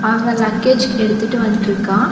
அவன் லக்கேஜ் எடுத்துட்டு வன்ட்ருக்கான்.